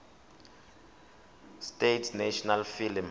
states national film